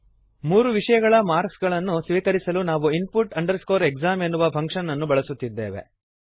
ಮೂರು ವಿಷಯಗಳ ಮಾರ್ಕ್ಸಗಳನ್ನು ಸ್ವೀಕರಿಸಲು ನಾವು input exam ಎನ್ನುವ ಫಂಕ್ಶನ್ ಅನ್ನು ಬಳಸುತ್ತಿದ್ದೇವೆ